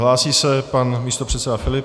Hlásí se pan místopředseda Filip.